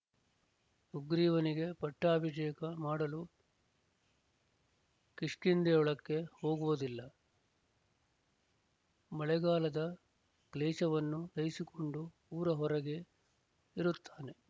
ಸುಗ್ರೀವನಿಗೆ ಪಟ್ಟಾಭಿಷೇಕ ಮಾಡಲು ಕಿಷ್ಕಿಂಧೆಯೊಳಕ್ಕೆ ಹೋಗುವುದಿಲ್ಲ ಮಳೆಗಾಲದ ಕ್ಲೇಶವನ್ನು ಸಹಿಸಿಕೊಂಡು ಊರ ಹೊರಗೇ ಇರುತ್ತಾನೆ